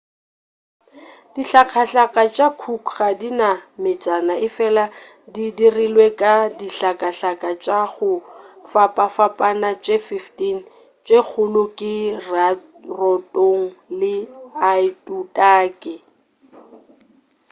dihlakahlaka tša cook ga di na metsana efela di dirilwe ka dihlakahlaka tša go fapafapana tše 15 tše kgolo ke rarotonga le aitutaki